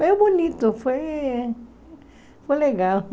Foi bonito, foi... foi legal.